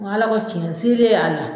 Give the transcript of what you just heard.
Ala ko cɛn y'a la.